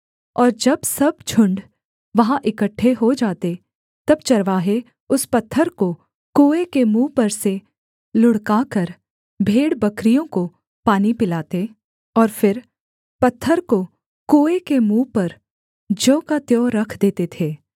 और जब सब झुण्ड वहाँ इकट्ठे हो जाते तब चरवाहे उस पत्थर को कुएँ के मुँह पर से लुढ़काकर भेड़बकरियों को पानी पिलाते और फिर पत्थर को कुएँ के मुँह पर ज्यों का त्यों रख देते थे